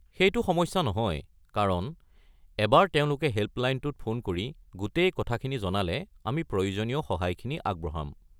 সেইটো সমস্যা নহয়, কাৰণ এবাৰ তেওঁলোকে হেল্পলাইনটোত ফোন কৰি গোটেই কথাখিনি জনালে আমি প্ৰয়োজনীয় সহায়খিনি আগবঢ়াম।